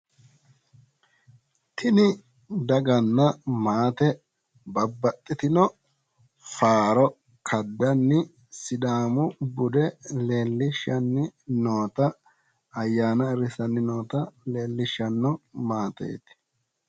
Tini daganna maate babbaxxitino faaro kaddanni sidaamu bude leellishshanni noota ayyaana ayiirrissanni noota leellishshanno maateeti